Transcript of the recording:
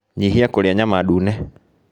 Nyihia kũrĩa nyama ndune